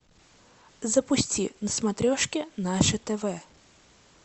запусти на смотрешке наше тв